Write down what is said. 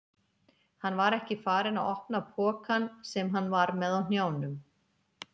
Hann var ekki farinn að opna pokann sem hann var með á hnjánum.